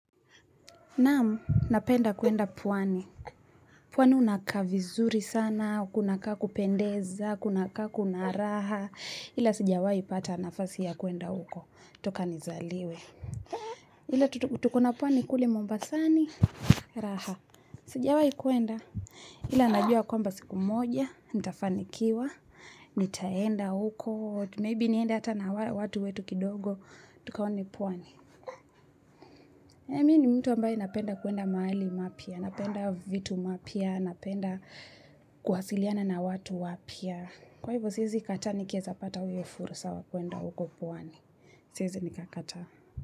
Naamu, napenda kuenda pwani. Pwani unakaa vizuri sana, kunakaa kupendeza, kunakaa kunaraha. Ila sijawai pata nafasi ya kuenda huko. Toka nizaliwe. Ila tuko na pwani kule mombasani. Raha. Sijawai kuenda. Ila najua kwamba siku moja. Nitafanikiwa. Nitaenda huko. Maybe nienda hata na watu wetu kidogo. Tukaone pwani. Mimi ni mtu ambaye napenda kuenda mahali mapya. Napenda vitu mapya, napenda kuwasiliana na watu wapya. Kwa hivyo siezi kataa nikiezapata huo fursa wa kwenda uko pwani. Siezi nikakataa.